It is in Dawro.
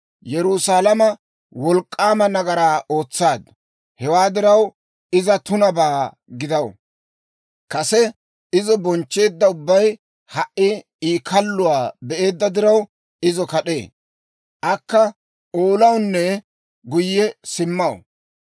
Yerusaalama wolk'k'aama nagaraa ootsaaddu; hewaa diraw, iza tunabaa gidaw. Kase izo bonchcheedda ubbay ha"i I kalluwaa be'eedda diraw, izo kad'ee. Akka oolawunne guyye simmaw.